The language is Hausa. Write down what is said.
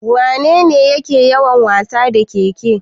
Wanene yake yawan wasa da ƙeƙe?